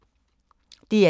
DR1